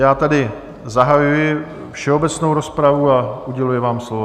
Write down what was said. Já tedy zahajuji všeobecnou rozpravu a uděluji vám slovo.